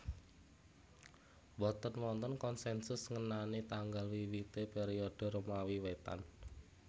Mboten wonten konsensus ngenani tanggal wiwité periode Romawi Wétan